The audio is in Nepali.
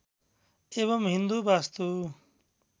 एवम् हिन्दू वास्तु